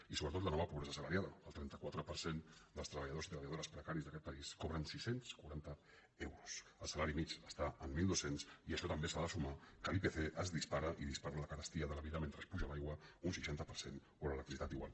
i sobretot la nova pobresa assalariada el trenta quatre per cent dels treballadors i treballadores precaris d’aquest país cobren sis cents i quaranta euros el salari mitjà està en mil dos cents i a això també s’ha de sumar que l’ipc es dis·para i dispara la carestia de la vida mentre s’apuja l’aigua un seixanta per cent o l’electricitat igual